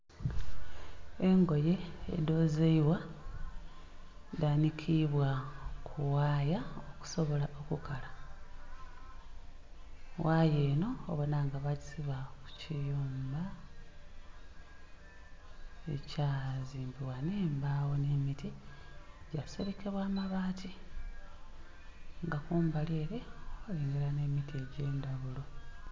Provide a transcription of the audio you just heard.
Engoye edhozebwa dhanikibya kughaya okusobole okukala, ghaya enho obonha nga bagisiba kukiyumba ekya zimbibwa nh'embagho nhe miti kyaselekebwa mabaati nga kumbali ere eriyo nhemiti egye ndhaghulo.